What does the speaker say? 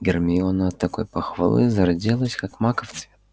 гермиона от такой похвалы зарделась как маков цвет